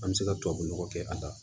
An bɛ se ka tubabunɔgɔ kɛ a la